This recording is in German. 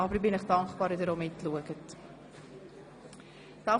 Aber ich bin Ihnen dankbar, wenn Sie die Augen offenhalten.